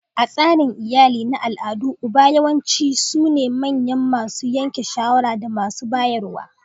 A tsarin iyali na al'ada, uba yawanci sune manyan masu yanke shawara da masu bayarwa.